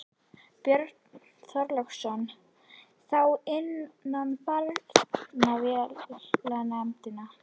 Björn Þorláksson: Þá innan barnaverndarnefnda?